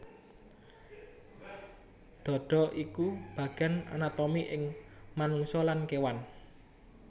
Dhadha iku bagéan anatomi ing manungsa lan kéwan